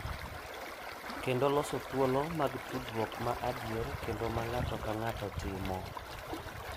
Kendo loso thuolo mag tudruok ma adier kendo ma ng’ato ka ng’ato timo.